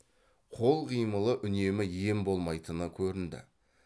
қол қимылы үнемі ем болмайтыны көрінді